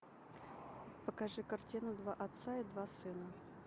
покажи картину два отца и два сына